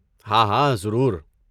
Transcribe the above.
ہاں ہاں، ضرور۔